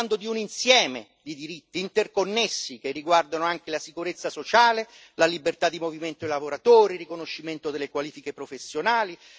Stiamo parlando di un insieme di diritti interconnessi, che riguardano anche la sicurezza sociale, la libertà di movimento dei lavoratori, il riconoscimento delle qualifiche professionali.